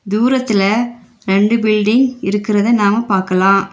தூரத்தில ரெண்டு பில்டிங் இருக்றது நாம பாக்கலாம்.